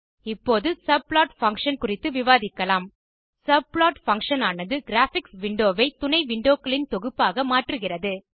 இப்போது subplot function குறித்து விவாதிக்கலாம் subplot பங்ஷன் ஆனது கிராபிக்ஸ் விண்டோ வை துணை விண்டோ க்களின் தொகுப்பாக மாற்றுகிறது